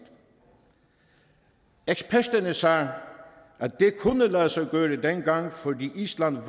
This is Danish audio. eksperterne sagde at det kunne lade sig gøre dengang fordi island